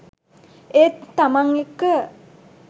ඒත් තමන් එක්ක